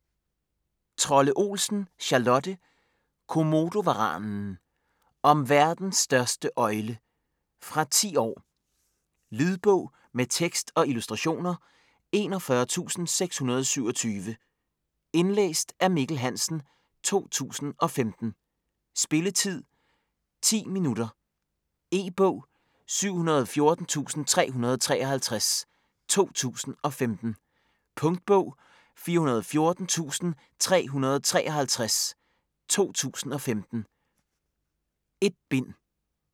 Trolle Olsen, Charlotte: Komodovaranen Om verdens største øgle. Fra 10 år. Lydbog med tekst og illustrationer 41627 Indlæst af Mikkel Hansen, 2015. Spilletid: 0 timer, 10 minutter. E-bog 714353 2015. Punktbog 414353 2015. 1 bind.